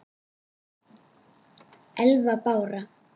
Elva Brá.